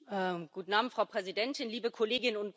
Frau Präsidentin, liebe Kolleginnen und Kollegen!